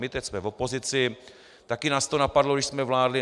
My teď jsme v opozici, taky nás to napadlo, když jsme vládli.